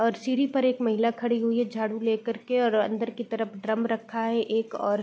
और सीढ़ी पर एक महिला खड़ी हुई हैं झाड़ू ले करके और अंदर की तरफ ड्रम रखा है एक और --